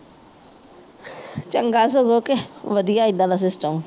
ਚੰਗਾ ਸਗੋਂ ਕੇ ਵਧੀਆ ਇੱਦਾਂ ਦਾ System